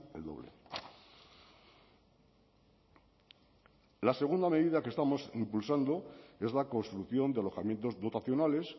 el doble la segunda medida que estamos impulsando es la construcción de alojamientos dotacionales